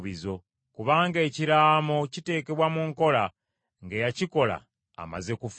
Kubanga ekiraamo kiteekebwa mu nkola ng’eyakikola amaze kufa.